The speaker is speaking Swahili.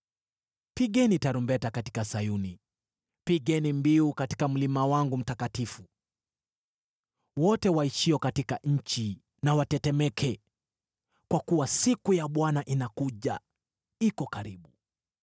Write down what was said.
Pigeni tarumbeta katika Sayuni; pigeni mbiu katika mlima wangu mtakatifu. Wote waishio katika nchi na watetemeke, kwa kuwa siku ya Bwana inakuja. Iko karibu,